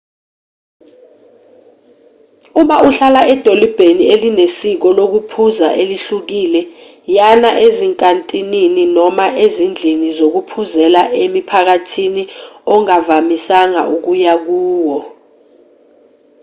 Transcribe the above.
uma uhlala edolobheni elinesiko lokuphuza elihlukile yana ezinkantinini noma izindlini zokuphuzela emiphakathini ongavamisanga ukuya kuyo